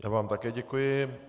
Já vám také děkuji.